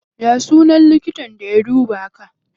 Ya sunan likitan da ya duba ka?